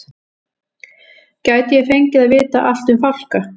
Gæti ég fengið að vita allt um fálka?